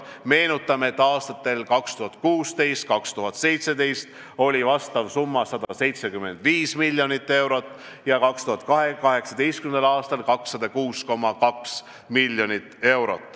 Meenutame, et aastatel 2016 ja 2017 oli vastav summa 175 miljonit eurot ja 2018. aastal 206,2 miljonit eurot.